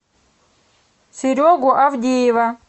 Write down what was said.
серегу авдеева